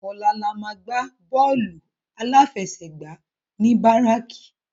Òlà lámà gbá bòlú áláfèsègbá ni báráki